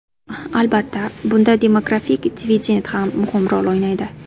Albatta, bunda demografik dividend ham muhim rol o‘ynaydi.